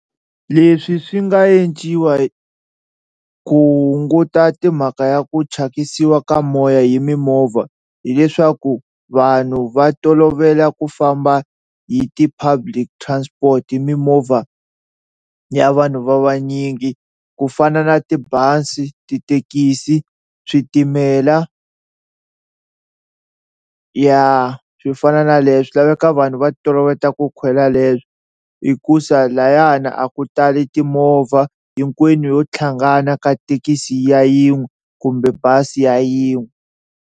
Leswi swi nga enciwa hi ku hunguta timhaka ya ku thyakisiwa ka moya hi mimovha hileswaku vanhu va tolovela ku famba hi ti-public transport hi mimovha ya vanhu va vanyingi ku fana na tibazi, tithekisi, switimela ya swi fana na leswo swi laveka vanhu va toloveta ku khwela leswo hikuza lhayana a ku tali timovha hinkwenu yo tlhangana ka thekisi ya yin'we kumbe bazi ya yin'we.